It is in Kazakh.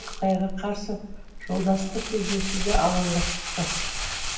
қытайға қарсы жолдастық кездесуде алаңға шықты